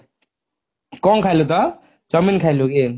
କଣ ଖାଇଲୁ ତ chowmein ଖାଇଲୁ କି